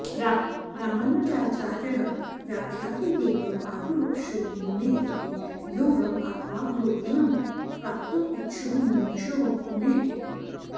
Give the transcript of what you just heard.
रामानुजाचार्यः व्याख्याति योगं आरुरुक्षोः मुनेः इति योगम् आत्मावलोकनं प्राप्तुम् इच्छोः मुमुक्षोः मुनेः इति